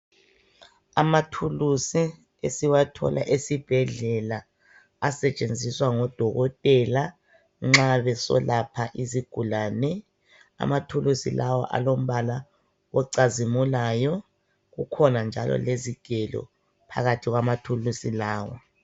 Amathuluzi esiwathola esibhedlela asetshenziswa ngodokotela nxa beselapha izigulane. Amathuluzi lawa alombala ocazimulayo kukhona njalo lezigelo phakathi kwamathuluzi lawa.